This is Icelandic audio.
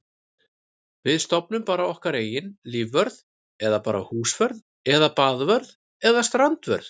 Við stofnum bara okkar eigin lífvörð eða bara húsvörð eða baðvörð eða strandvörð.